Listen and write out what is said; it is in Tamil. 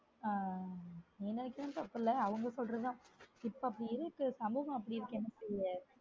உம் எனக்கு தெரிஞ்சு அப்டி இல்ல அவங்க சொல்றதும் இப்ப அப்டி இருக்கு சமூகம் அப்டி இருக்கு என்ன செய்ய?